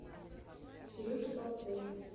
сереге попкову